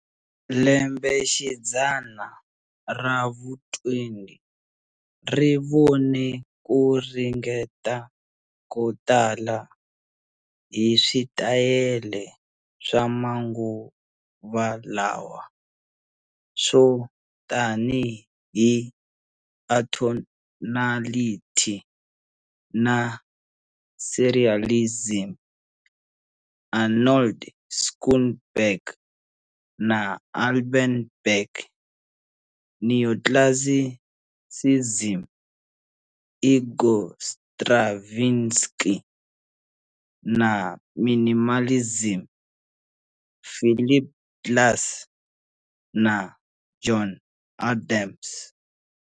Lembexidzana ra vu-20 ri vone ku ringeta ko tala hi switayele swa manguva lawa, swo tanihi atonality na serialism, Arnold Schoenberg na Alban Berg, neoclassicism, Igor Stravinsky, na minimalism, Philip Glass na John Adams.